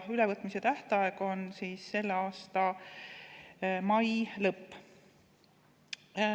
Ülevõtmise tähtaeg on selle aasta mai lõpp.